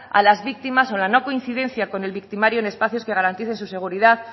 a las víctimas o la no coincidencia con el victimario en espacios que garantice su seguridad